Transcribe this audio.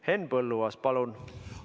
Henn Põlluaas, palun!